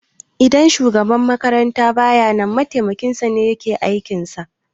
Idan shugaban makaranta baya nan mataimakin sane yake aikin sa